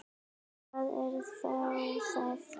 Hvað er þá að?